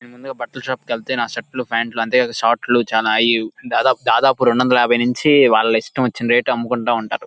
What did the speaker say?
నేను ముందుగ బట్టల షాప్ కి వెళ్తే నా షర్ట్ లు ఫాంట్ లు అంతే కాక షార్ట్ లు చానా అయి దాదాపు దాదాపు రెండువందల ఏభై నుంచి వాలా ఇష్టమొచ్చిన రేట్ అమ్ముకుంటా ఉంటారు.